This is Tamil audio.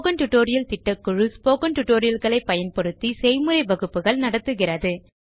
ஸ்போக்கன் டியூட்டோரியல் திட்ட குழு ஸ்போக்கன் Tutorial களை பயன்படுத்தி செய்முறை வகுப்புகள் நடத்துகிறது